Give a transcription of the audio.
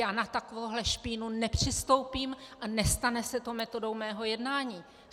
Já na takovouto špínu nepřistoupím a nestane se to metodou mého jednání.